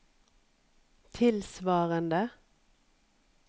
tilsvarende